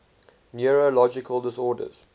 neurological disorders